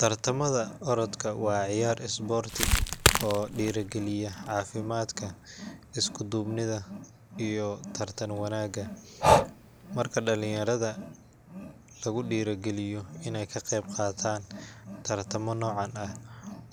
Tartamada orodka waa ciyaar isboorti oo dhiirrigeliya caafimaadka, isku-duubnida, iyo tartan wanaagga. Marka dhalinyarada lagu dhiirrigeliyo inay ka qeyb qaataan tartamo noocan ah,